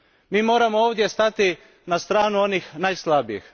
Mi moramo ovdje stati na stranu onih najslabijih.